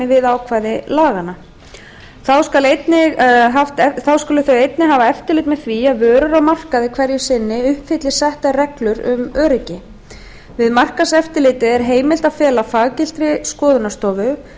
við ákvæði laganna einnig skulu þau hafa eftirlit með því að vörur á markaði hverju sinni uppfylli settar reglur um öryggi við markaðseftirlitið er heimilt að fela faggiltri skoðunarstofu að